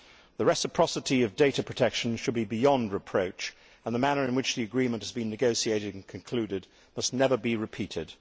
The reciprocity of data protection should be beyond reproach, and the manner in which the agreement has been negotiated and concluded must never be repeated.